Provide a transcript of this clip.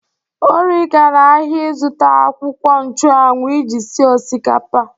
Ori gara ahịa izụta akwụkwọ nchu anwu iji sie osikapa.